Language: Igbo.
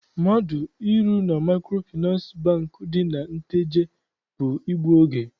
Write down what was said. Mmadụ ịrụ na Maịkrofịnansị Bankị. dị na Nteje bụ igbu oge.